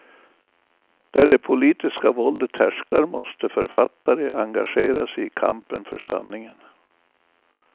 Där det politiska våldet härskar måste författare engagera sig i kampen för sanningen.